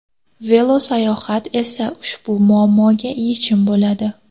Velosayohat esa ushbu muammoga yechim bo‘ladi.